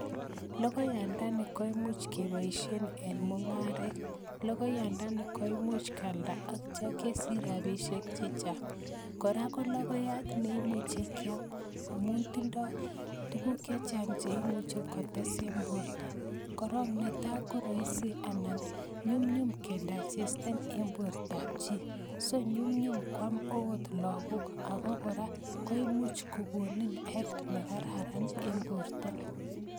Logoyandani komuch keboishien eng mungaret, logonyandani kemuche kialda ak yeityo kesich rabishek chechang. Kora ko logoyaat neimuche kiam amun tindo tuguuk chechang cheimuche kotes eng borto, kora ko nyumnyum kedaigesten eng bortab chii, so nyumyum kuam okot logbook aka kora koimuch kokonin tililindo ne kararan eng bortoo